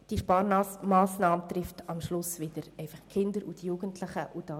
Diese Sparmassnahme trifft am Schluss einfach wieder die Kinder und die Jugendlichen.